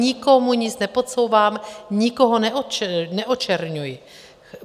Nikomu nic nepodsouvám, nikoho neočerňuji.